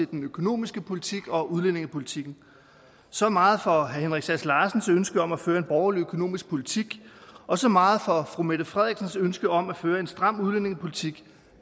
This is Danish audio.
den økonomiske politik og udlændingepolitikken så meget for herre henrik sass larsens ønske om at føre en borgerlig økonomisk politik og så meget for fru mette frederiksens ønske om at føre en stram udlændingepolitik